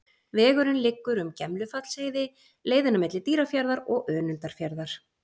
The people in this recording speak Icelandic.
Vegurinn liggur um Gemlufallsheiði, leiðina milli Dýrafjarðar og Önundarfjarðar.